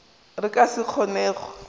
re ka se kgone go